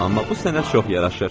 “Amma bu sənə çox yaraşır.”